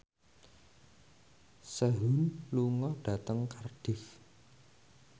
Sehun lunga dhateng Cardiff